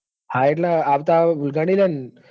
હા પણ આવતા વગાડીન લે.